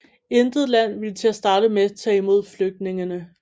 Intet land ville til at starte med tage imod flygtningene